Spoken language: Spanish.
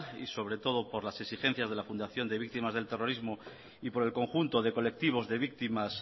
y sobre todo por las exigencias de la fundación de víctimas del terrorismo y por el conjunto de colectivos de víctimas